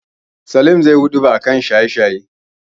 Salim zaiyi huɗuba a kan shanye-shaye.